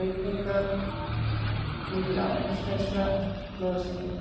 reykingar og mikil áfengisneysla blóðþrýstinginn.